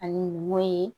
Ani wo ye